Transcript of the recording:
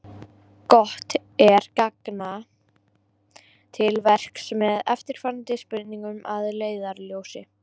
Gott er ganga til verks með eftirfarandi spurningar að leiðarljósi: